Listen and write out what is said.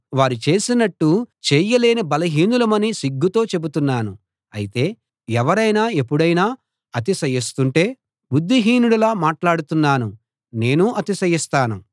వారు చేసినట్టు చేయలేని బలహీనులమని సిగ్గుతో చెబుతున్నాను అయితే ఎవరైనా ఎపుడైనా అతిశయిస్తుంటేబుద్ధిహీనుడిలా మాట్లాడుతున్నానునేనూ అతిశయిస్తాను